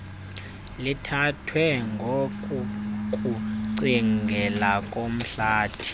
lithathwa ngokokucingela komhlathi